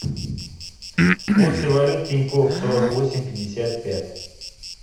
курсы валют тинькофф сорок восемь пятьдесят пять